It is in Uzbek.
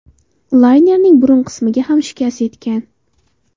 Laynerning burun qismiga ham shikast yetgan.